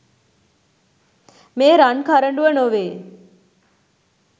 මේ රන් කරඬුව නොවේ.